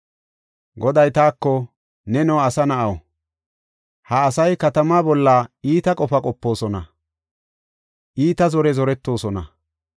Goday taako, “Neno asa na7aw, ha asay katamaa bolla iita qofa qopoosona; iita zore zoretoosona.